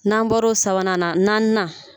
N'an bɔra sabanan na naaninan